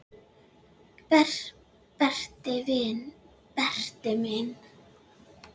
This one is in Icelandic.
Berti minn.